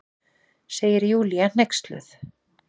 segir Júlía hneyksluð.